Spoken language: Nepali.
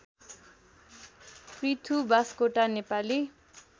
पृथु बास्कोटा नेपाली